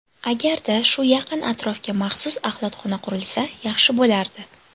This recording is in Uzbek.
Agarda shu yaqin atrofga maxsus axlatxona qurilsa, yaxshi bo‘lardi.